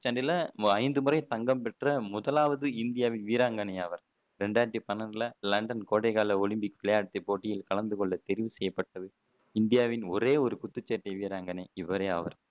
குத்துச் சண்டையில ஐந்து முறை தங்கம் பெற்ற முதலாவது இந்திய வீராங்கனை அவர் ரெண்டாயிரத்தி பன்னெண்டுல லண்டன் கோடை கால ஒலிம்பிக் விளையாட்டு போட்டியில கலந்து கொள்ள தெரிவு செய்யப்பட்டது இந்தியாவின் ஒரே குத்துச்சண்டை வீராங்கனை இவரே ஆவர்